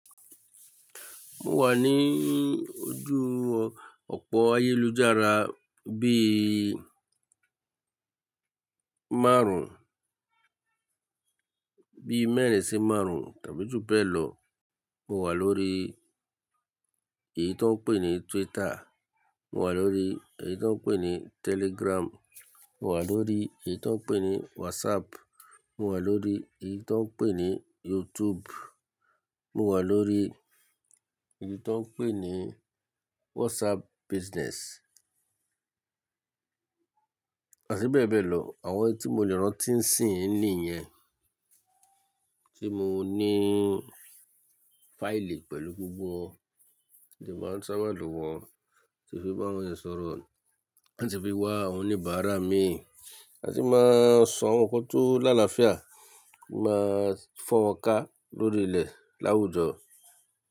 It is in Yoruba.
Mo wà ní ojú ọ̀pọ̀ ayélujára bí i márùn-ún, bí i mẹ́rin sí márùn-ún tàbí jù bẹ́ẹ̀ lọ. Mo wà lórí èyí tó ń pè ní Twitter. Mo wà lórí èyí tó ń pè ní Telegram. Mo wà lórí èyí tó ń pè ní WhatsApp. Mo wà lórí èyí tó ń pè ní YouTube. Mo wà lórí èyí tó ń pè ní WhatsApp Business àti bẹ́ẹ̀ bẹ́ẹ̀ lọ. Àwọn tí mo lè rántí ń sì ń ní yẹn tí mo ní fáìlì pẹ̀lú gbogbo won mo de maá ń ṣába lo wọ́n, lati fi bá awọn eeyan sọ̀rọ̀ làti fi wá àwọn oníbàárà mi àti máa sọ àwọn nǹkan tó láàláfíà máa fọ́n wọn ká lórí ilẹ̀ láwùjọ.